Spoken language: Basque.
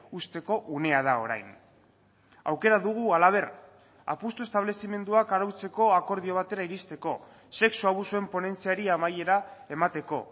uzteko unea da orain aukera dugu halaber apustu establezimenduak arautzeko akordio batera iristeko sexu abusuen ponentziari amaiera emateko